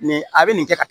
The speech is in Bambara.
Nin a bɛ nin kɛ tan